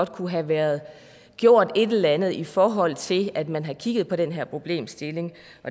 kunne have været gjort et eller andet i forhold til at man havde kigget på den her problemstilling